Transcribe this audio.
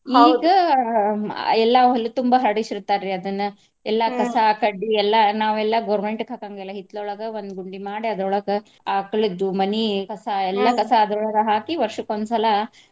ಆ ಎಲ್ಲಾ ಹೊಲ ತುಂಬ ಹರಡಿಸಿರ್ತಾರಿ ಅದನ್ನ. ಕಸಾ, ಕಡ್ಡಿ ಎಲ್ಲಾ ನಾವೆಲ್ಲಾ government ಕ್ಕ್ ಹಾಕಾಂಗಿಲ್ಲಾ ಹಿತ್ಲೊಳಗ ಒಂದ್ ಗುಂಡಿ ಮಾಡಿ ಅದ್ರೋಳಗ ಆಕಳದ್ದು ಮನಿ ಕಸಾ ಕಸಾ ಅದ್ರೋಳಗ ಹಾಕಿ ವರ್ಷಕ್ಕೊಂದ ಸಲಾ.